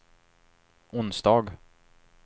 onsdag